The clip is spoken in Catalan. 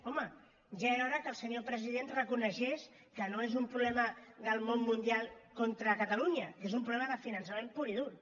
home ja era hora que el senyor president reconegués que no és un problema del món mundial contra catalunya que és un problema de finançament pur i dur